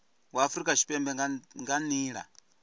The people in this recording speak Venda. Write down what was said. wa afurika tshipembe nga nila